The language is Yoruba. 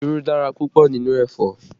Irú dára púpọ̀ nínú ẹ̀fọ́